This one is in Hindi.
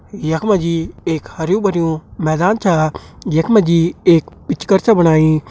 यख मा जी एक हरयूं भरयूं मैदान छा जखमा जी एक पिच कर छा बणाईं।